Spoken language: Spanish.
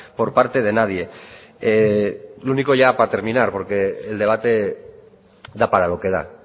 por parte de nadie lo único ya para terminar porque el debate da para lo que da